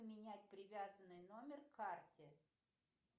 поменять привязанный номер к карте